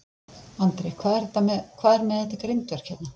Andri: Hvað er með þetta grindverk hérna?